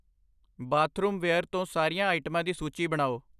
bathroomware ਤੋਂ ਸਾਰੀਆਂ ਆਈਟਮਾਂ ਦੀ ਸੂਚੀ ਬਣਾਓ